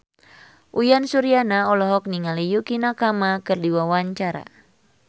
Uyan Suryana olohok ningali Yukie Nakama keur diwawancara